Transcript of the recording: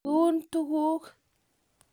iun tuguk